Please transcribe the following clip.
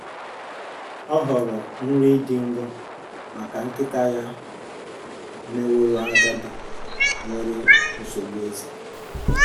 Ọ họọrọ nri dị nro maka nkịta ya meworo agadi nwere nsogbu eze.